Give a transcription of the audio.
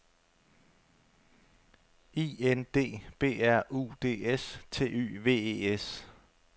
I N D B R U D S T Y V E S